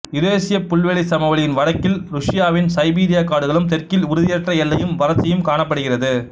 யுரேசியப் புல்வெளிச் சமவெளியின் வடக்கில் ருசியாவின் சைபீரியாக் காடுகளும் தெற்கில் உறுதியற்ற எல்லையும் வறட்சியும் காணப்படுகிறது